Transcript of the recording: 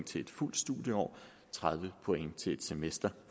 til et fuldt studieår tredive point til et semester